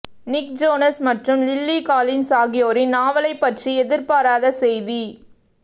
நிக் Jonas மற்றும் Lily Collins ஆகியோரின் நாவலைப் பற்றி எதிர்பாராத செய்தி